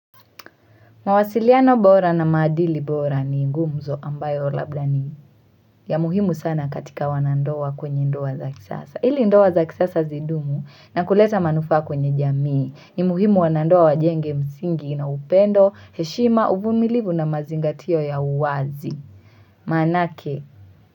Mawasiliano bora na maadili bora ni gumzo ambayo labda ni ya muhimu sana katika wanandoa kwenye ndoa za kisasa. Hili ndoa za kisasa zidumu na kuleta manufaa kwenye jamii ni muhimu wanandoa wajenge msingi na upendo, heshima, uvumilivu na mazingatio ya uwazi. Maanake.